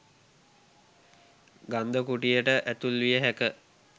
ගන්ධකුටියට ඇතුල්විය හැක.